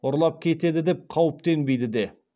ұрлап кетеді деп қауіптенбейді де